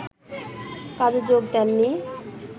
কাজে যোগ দেননি